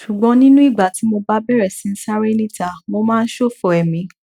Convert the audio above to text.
ṣùgbọn nínú ìgbà tí mo bá bẹrẹ sí ń sáré níta mo máa ń ṣòfò ẹmí